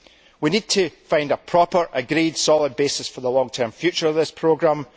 We need to find a proper, agreed, solid basis for the long term future of this programme.